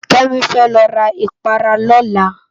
Kemi fè lo rá ipárá lòlá